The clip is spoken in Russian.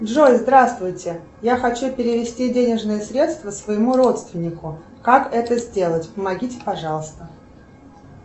джой здравствуйте я хочу перевести денежные средства своему родственнику как это сделать помогите пожалуйста